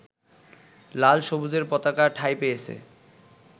লাল-সবুজের পতাকা ঠাঁই পেয়েছে